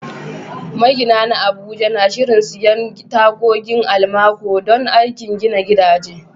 Magina na Abuja na shirin siyan tagogin almaco don aikin gina gidaje.